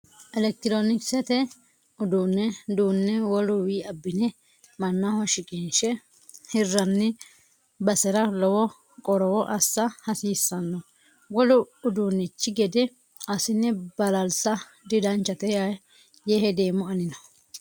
Elekitironkisete uduune duune woluwi abbine mannaho shiqqinse hiranni basera lowo qorowo assa hasiisano wolu uduunchi gede assine balalisa didanchate yee hedeemmo anino.